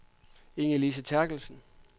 Ingelise Terkelsen